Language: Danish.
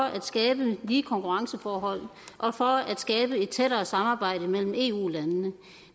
at skabe lige konkurrenceforhold og for at skabe et tættere samarbejde mellem ef landene